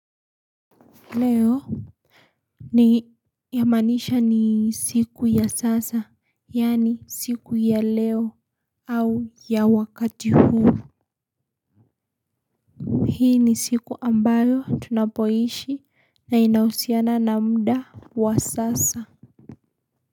Leo. Yamaanisha ni siku ya sasa. Yaani siku ya leo. Au ya wakati huu. Hii ni siku ambayo tunapoishi na inahusiana na muda wa sasa.